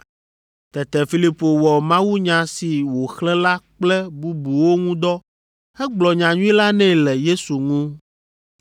Tete Filipo wɔ mawunya si wòxlẽ la kple bubuwo ŋu dɔ hegblɔ nyanyui la nɛ le Yesu ŋu.